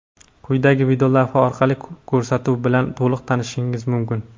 Quyidagi videolavha orqali ko‘rsatuv bilan to‘liq tanishishingiz mumkin.